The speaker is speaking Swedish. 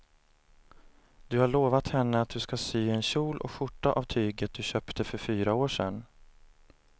Du har lovat henne att du ska sy en kjol och skjorta av tyget du köpte för fyra år sedan.